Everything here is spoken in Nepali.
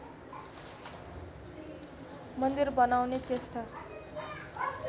मन्दिर बनाउने चेष्टा